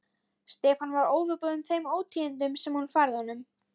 Stefán var óviðbúinn þeim ótíðindum sem hún færði honum.